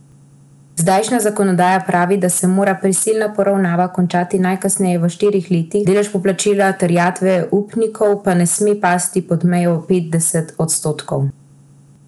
Zdajšnja zakonodaja pravi, da se mora prisilna poravnava končati najkasneje v štirih letih, delež poplačila terjatev upnikov pa ne sme pasti pod mejo petdeset odstotkov.